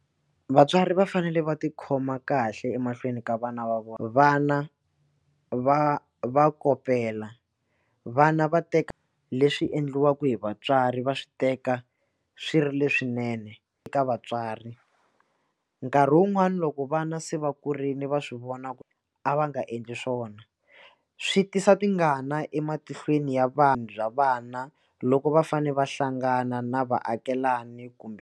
Vatswari va fanele va tikhoma kahle emahlweni ka vana va vona vana va va kopela vana va teka leswi endliwaka hi vatswari va swi teka swi ri leswinene eka vatswari nkarhi wun'wani loko vana se va kurile va swi vona ku a va nga endli swona swi tisa tingana ematihlweni ya vanhu bya vana loko va fane va hlangana na vaakelani kumbe.